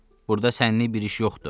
Burda sənnik bir iş yoxdur.